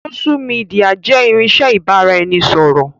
Sósú midià jẹ́ irinsẹ́ ibà ra ẹni ṣọ̀rọ̀